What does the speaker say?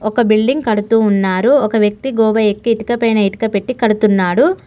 ఒక బిల్డింగ్ కడుతూ ఉన్నారు ఒక వ్యక్తి గోడ ఎక్కి ఇటుక పైన ఇటుక పెట్టీ కడుతున్నాడు.